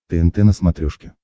тнт на смотрешке